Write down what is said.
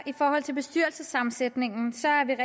i forhold til bestyrelsessammensætningen